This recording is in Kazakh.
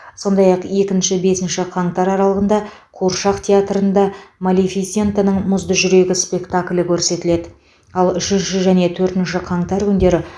сондай ақ екінші бесінші қаңтар аралығында қуыршақ театрында малефисентаның мұзды жүрегі спектаклі көрсетіледі ал үшінші және төртінші қаңтар күндері